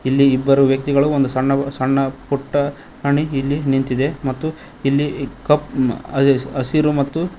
ಇಲ್ಲಿ ಇಬ್ಬರು ವ್ಯಕ್ತಿಗಳು ಒಂದು ಸಣ್ಣ ಸಣ್ಣ ಪುಟ್ಟ ಅಣಿ ಇಲ್ಲಿ ನಿಂತಿದೆ ಮತ್ತು ಇಲ್ಲಿ ಕಪ್ ಅದೆ ಹಸಿರು ಮತ್ತು--